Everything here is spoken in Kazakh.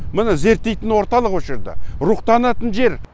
міне зерттейтін орталық осы жерде рухтанатын жер